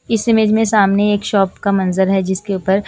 इस इमेज में सामने एक शॉप का मंजर है जिसके ऊपर--